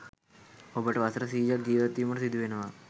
ඔබට වසර සියයක් ජීවත්වීමට සිදුවනවා